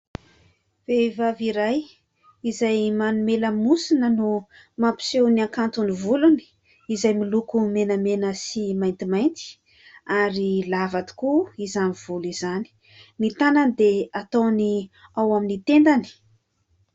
Vehivavy iray, izay manome lamosina no mampiseho ny hakanton'ny volony izay miloko menamena sy maintimainty, ary lava tokoa izany volo izany. Ny tànany dia ataony ao amin'ny tendany.